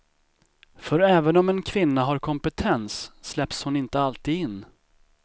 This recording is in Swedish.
För även om en kvinna har kompetens släpps hon inte alltid in.